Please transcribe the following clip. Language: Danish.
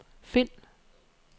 find